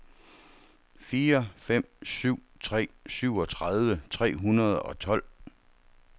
fire fem syv tre syvogtredive tre hundrede og tolv